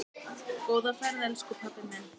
Góða ferð, elsku pabbi minn.